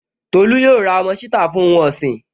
Tolú yóò ra ọmọ ṣítà fún ohun ọ̀sìn